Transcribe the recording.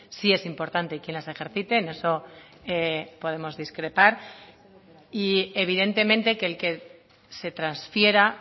sí es importante y quiénes ejerciten eso podemos discrepar y evidentemente que el que se transfiera